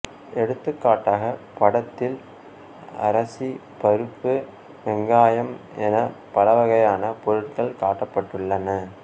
எடுத்துக்காட்டாக படத்தில் அரசி பருப்பு வெங்காயம் என பலவகையான பொருட்கள் காட்டப்பட்டுள்ளன